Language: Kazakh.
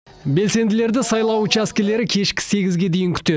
белсенділерді сайлау учаскілері кешкі сегізге дейін күтеді